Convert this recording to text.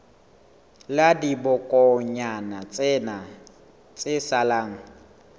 la dibokonyana tsena tse salang